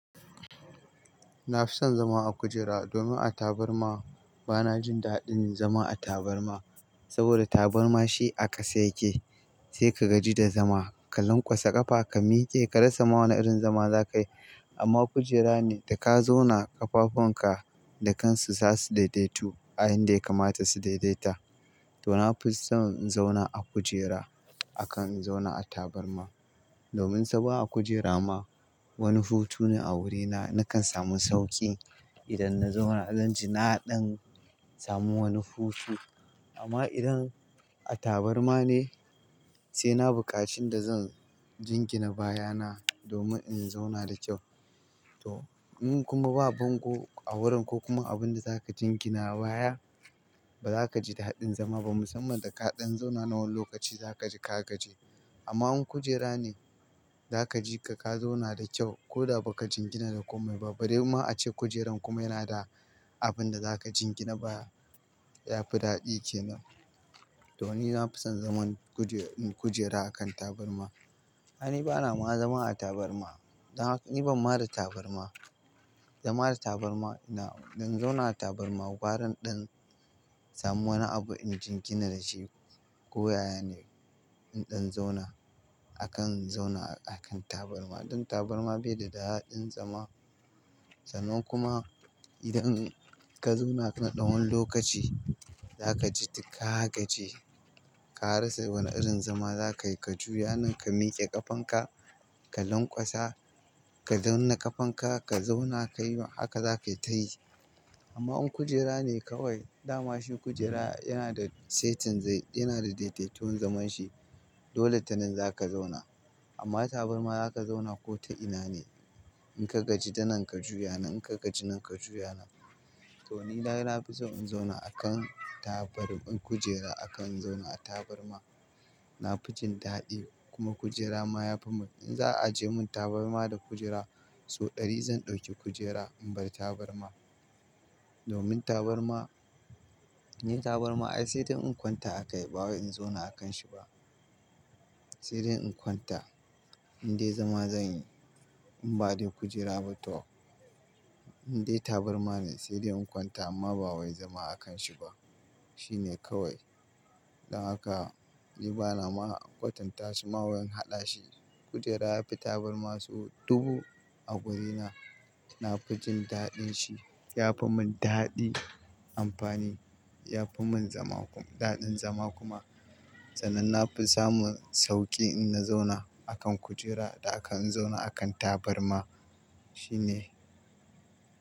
Na fi son zama a kujera domin a tabarma bana jin daɗin zama a tabarma saboda tabarma shi a ƙasa yake sai ka gaji da zama, ka lankwasa ƙafa, ka miƙe, ka rasa ma wane irin zama za ka yi. Amma kujera ne da ka zauna ƙafafunka da kansu za su daidaitu, a inda ya kamata su daidaita. To na fi son in zauna a kujera akan in zauna a tabarma domin saboda a kujera ma wani hutu ne a wurina nakan samu sauƙi idan na zauna. Zan ji naɗin samun wani hutu amma idan a tabarma ne sai na buƙaci inda zan jingina baya na domin in zauna da kyau. To in kuma ba bango a wurin ko kuma abin da za ka jingina baya, ba za ka ji daɗin zama ba musamman da kaɗan zauna na wani lokaci za ka ji ka gaji. Amma in kujera ne za ka ji ka zauna da kyau ko da ba ka jingina da komai ba. Bari ma ace kujerar kuma yana da abin da za ka jingina baya yafi daɗi kenan. To ni na fi son zaman kujera a kan tabarma. Ai ni bana ma zama a tabarma. Ni ban ma da tabarma. Za mada tabarma ina-- idan zauna a tabarma, gwaran ɗan samu wani abu inji jingina da shi ko yaya ne inɗan zauna akan zauna a kan tabarma. Ɗin tabarma bai da daɗin zama sanan kuma idan ka zauna na ɗan wani lokaci za ka ji ka gaji. Ka rasa wani irin zama za ka yi, ka juya nan ka miƙe ƙafanka, ka lankwasa, ka zauna ƙafanka, ka zauna ka yi haka, za ka yi ta yi. Amma in kujera ne kawai dama shi kujera yana da saitin zai-- yana da daidaiton zaman shi. Dole tanan za ka zauna. Amma tabarma za ka zauna ko ta ina ne in ka gaji danan ka juya nan, in ka gaji nan ka juya nan. To ni dai na fi son in zauna a kan tabar-- kujera akan in zauna a tabarma. Na fi jin daɗi kuma kujera ma ya fi mun-- in za a aje mun tabarma da kujera sau ɗari zan ɗauki kujera in bar tabarma domin tabarma, ni tabarma ai sai dai in kwanta a kai ba wai in zauna a kanshi ba. Sai dai in kwanta indai zama zan yi in bade kujera ba to indai tabarma ne sai dai in kwanta amma ba wai zama a kanshi ba. Shi ne kawai. Dan haka ni bana ma kwatanta shi ma wai in haɗa shi. Kujera yafi tabarma sau dubu a wurina. Na fi jin daɗin shi. Ya fi mun daɗi amfani, ya fi mun zama daɗin zama kuma sanan na fi samun sauƙi in na zauna a kan kujera da akan in zauna a kan tabarma. Shi ne.